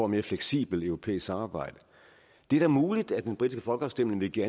mere fleksibelt europæisk samarbejde det er da muligt at den britiske folkeafstemning vil give